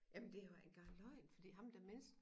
Jamen det jo ikke engang løgn fordi ham den mindste